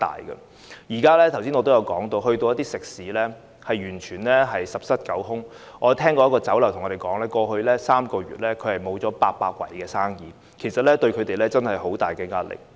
正如我剛才所說，現在到訪一些食肆，可見完全是十室九空，有一間酒樓告訴我們，在過去3個月損失了800桌的生意，對他們造成很大的壓力。